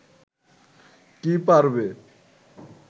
কি পারবে